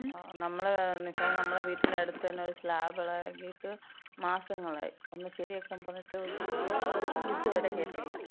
നമ്മള, ന്നിച്ചാ നമ്മളെ വീട്ടിന്‍റെ അട്ത്ത്ന്നെ ഒരു സ്ലാബ് എളകീട്ട് മാസങ്ങളായി. അതൊന്ന് ശരിയാക്കാൻ പറഞ്ഞിട്ട് അവര് ഇത് വരെ കേട്ടില്ല.